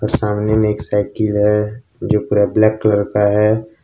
सामने में एक साइकिल है जो पूरा ब्लैक कलर का है।